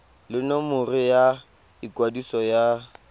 le nomoro ya ikwadiso ya